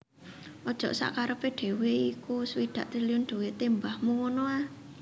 Ojok sakkarepe dhewe iku swidak triliun dhuwite mbahmu ngono a